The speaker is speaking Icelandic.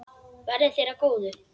Verði þér að góðu.